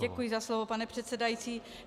Děkuji za slovo, pane předsedající.